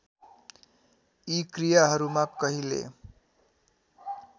यी क्रियाहरूमा कहिले